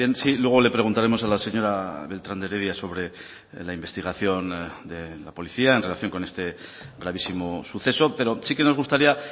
sí luego le preguntaremos a la señora beltrán de heredia sobre la investigación de la policía en relación con este gravísimo suceso pero sí que nos gustaría